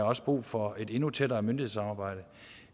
også brug for et endnu tættere myndighedssamarbejde